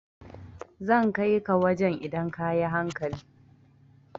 Zan kai ka wajan idan ka yi hankali